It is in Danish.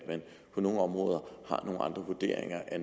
på nogle områder har nogle andre vurderinger af